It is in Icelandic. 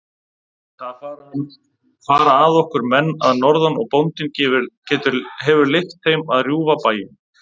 Það fara að okkur menn að norðan og bóndinn hefur leyft þeim að rjúfa bæinn.